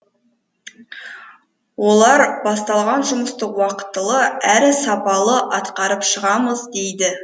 олар басталған жұмысты уақытылы әрі сапалы атқарып шығамыз дейді